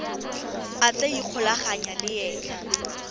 a tla ikgolaganyang le ena